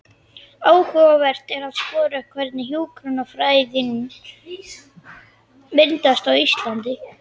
Áhugavert er að skoða hvernig hjúkrunarfræðin myndaðist á Íslandi.